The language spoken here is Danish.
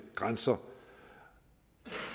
grænser